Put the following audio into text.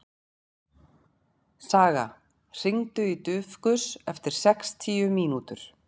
Saga, hringdu í Dufgus eftir sextíu mínútur.